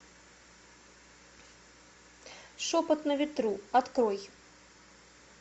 шепот на ветру открой